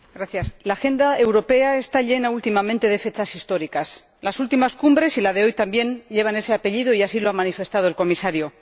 Señora Presidenta, la agenda europea está llena, últimamente, de fechas históricas. Las últimas cumbres y la de hoy también llevan ese apellido, y así lo ha manifestado el Comisario.